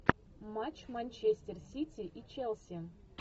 матч манчестер сити и челси